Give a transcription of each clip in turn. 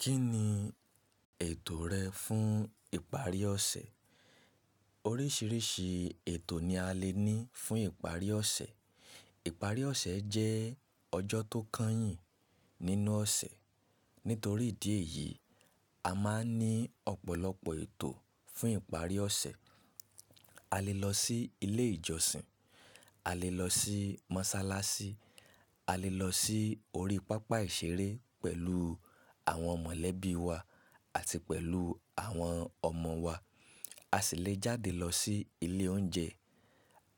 Kí ni ètò rẹ fún ìparí ọ̀sẹ̀? Oríṣiríṣi ètò ni a lè ní fún ìparí ọ̀sẹ̀. Ìparí ọ̀sẹ̀ jẹ́ ọjọ́ tó kányìn nínú ọ̀sẹ̀. Nítorí ìdí èyí, a máa ń ní ọ̀pọ̀lọpọ̀ ètò fún ìparí ọ̀sẹ̀. A lè lọ sí ilé ìjọsìn, a lè lọ sí mọ́ṣáláṣí, a lè lọ sí orí pápá ìṣeré pẹ̀lú àwọn mọ̀lẹ́bí wa àti pẹ̀lú àwọn ọmọ wa. A sì lè jáde lọ sí ilé oúnjẹ.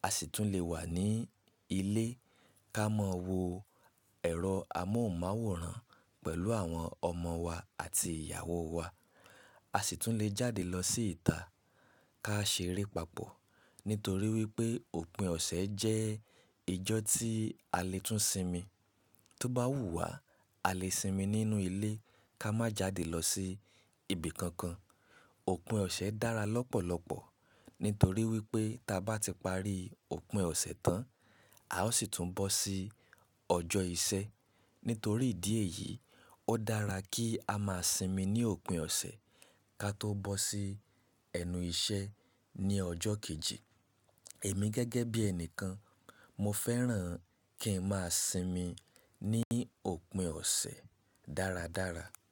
A sì tún lè wà ní ilé ká mọ wo ẹ̀rọ amóhùnmáwòrán pẹ̀lú àwọn ọmọ wa àti ìyàwó wa. A sì tún lè jáde lọ sí ìta ká ṣeré papọ̀. Nítorí wípé òpin ọ̀sẹ̀ jẹ́ ìjọ́ tí a lè tún sinmi. Tóbá wù wá, a lè sinmi nínú ilé ká má jáde lọ sí ibi kankan. Òpin ọ̀sẹ̀ dára lọ́pọ̀lọpọ̀ nítorí wípé ta bá ti parí òpin ọ̀sẹ̀ tán, a ó sì tún bọ́ sí ọjọ́ ìṣé. Nítorí ìdí èyí, ó dára kí a máa sinmi ní òpin ọ̀sẹ̀ ká tó bọ́ sí ẹnu ìṣé ní ọjọ́ kejì. Èmi gẹ́gẹ́ bí ẹnìkan, mo fẹ́ràn kí ń máa sinmi ní òpin ọ̀sẹ̀ dáradára.